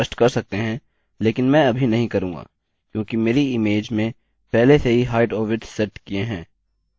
आप हाईट और विड्थ स्पष्ट कर सकते हैं लेकिन मैं अभी नहीं करूँगा क्योंकि मेरी इमेज में पहले से ही हाईट और विड्थ सेट किए हैं